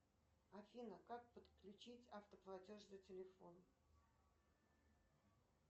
афина как подключить автоплатеж на телефон